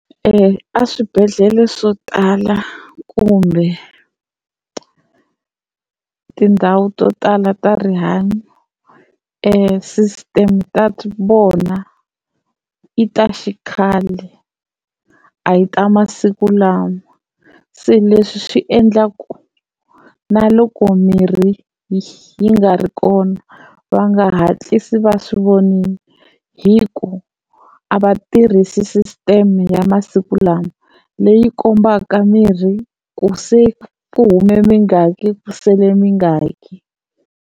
A swibedhlele swo tala kumbe tindhawu to tala ta rihanyo system ta vona i ta xikhale a hi ta masiku lama. Se leswi swi endla ku naloko mirhi yi nga ri kona va nga hatlisi va swi vonile hi ku a va tirhisi sisiteme ya masiku lama leyi kombaka mirhi ku se ku hume mingaki ku sele mingaki.